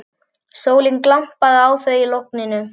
Sólin glampaði á þau í logninu.